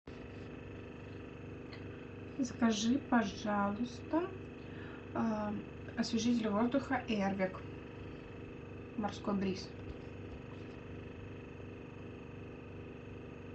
закажи пожалуйста освежитель воздуха эрвик морской бриз